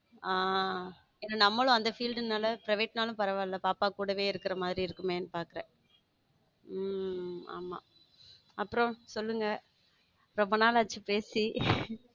ஹம் நம்மளும் அந்த field private னாலும் பரவால்ல பாப்பா கூடவே இருக்கிற மாதிரி இருக்குமே பாக்குறேன் உம் ஆமா அப்புறம் சொல்லுங்க ரொம்ப நாளாச்சு பேசி.